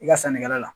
I ka sannikɛla la